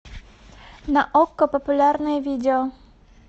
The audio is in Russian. на окко популярные видео